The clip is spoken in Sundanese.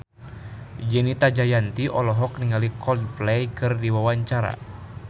Fenita Jayanti olohok ningali Coldplay keur diwawancara